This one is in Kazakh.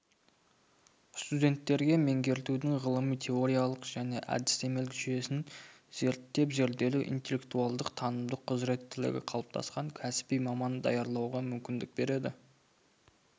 студенттерге меңгертудің ғылыми-теориялық және әдістемелік жүйесін зерттеп-зерделеу интеллектуалдық-танымдық құзыреттілігі қалыптасқан кәсіби маман даярлауға мүмкіндік береді